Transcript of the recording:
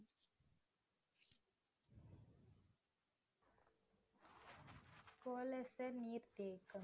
நீர்த்தேக்கம்.